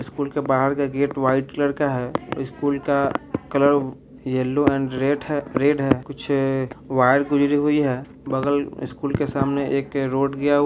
school के बाहर का गेट वाइट कलर का है स्कूल का कलर येलो एंड रेड है रेड है कुछ वायर गुजरी हुई है बगल स्कूल के सामने एक रोड गया हु --